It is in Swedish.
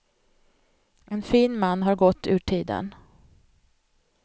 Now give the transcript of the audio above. En fin man har gått ur tiden.